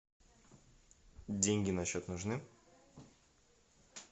деньги на счет нужны